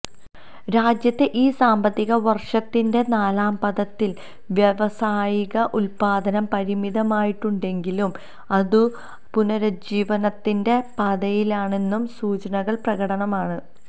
രാജ്യത്തെ ഈ സാമ്പത്തിക വര്ഷത്തിന്റെ നാലാംപാദത്തില് വ്യാവസായിക ഉത്പാദനം പരിമിതമായിട്ടുണ്ടെങ്കിലും അതു പുനരുജ്ജീവനത്തിന്റെ പാതയിലാണെന്ന സൂചനകള് പ്രകടമാണ്